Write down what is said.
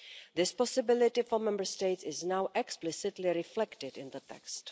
This possibility for Member States is now explicitly reflected in that text.